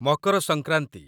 Makar Sankranti